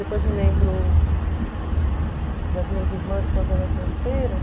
Depois me lembro das minhas irmãs quando elas nasceram.